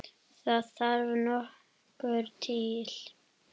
Það þarf nokkuð til!